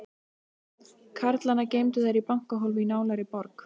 Karlana geymdu þær í bankahólfi í nálægri borg.